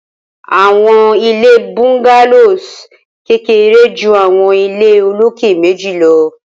awọn ile Bungalows kere ju awọn ile oloke meji lọ